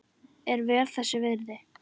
Er vel þess virði.